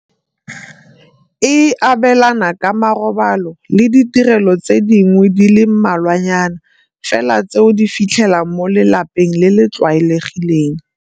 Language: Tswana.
E abelana ka ma robalo le ditirelo tse dingwe di le mmalwanyana fela tse o di fitlhelang mo lelapeng le le tlwaelegileng.